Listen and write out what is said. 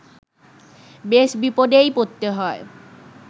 বেশ বিপদেই পড়তে হয়